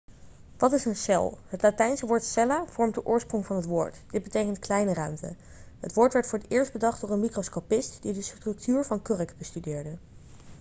wat is een cel het latijnse woord cella' vormt de oorsprong van het woord dit betekent kleine ruimte' het woord werd voor het eerst bedacht door een microscopist die de structuur van kurk bestudeerde